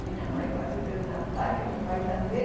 Minha mãe quase teve um ataque, meu pai também.